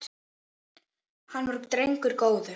Hann var drengur góður